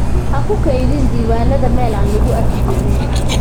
Ha ku kaydin diiwaanada meel aan lagu arki doonin.